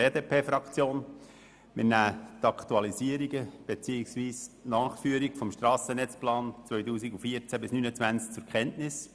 Die BDP-Fraktion nimmt die Aktualisierungen beziehungsweise die Nachführungen des Strassennetzplans 2014–2029 zur Kenntnis.